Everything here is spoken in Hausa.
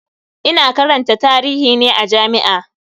Ina karanta tarihi ne a jami'a.